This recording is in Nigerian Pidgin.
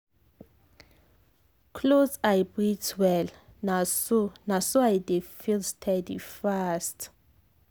close eye breathe well — na so — na so i dey feel steady fast.